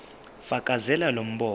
fakazela lo mbono